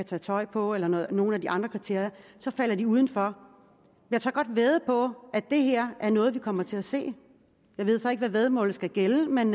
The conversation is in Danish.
tage tøj på eller nogle af de andre kriterier falder de uden for jeg tør godt vædde på at det her er noget vi kommer til at se jeg ved så ikke hvad væddemålet skal gælde men